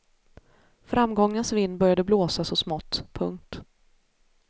Framgångens vind började blåsa så smått. punkt